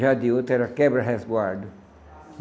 Já de outro era Quebra Resguardo.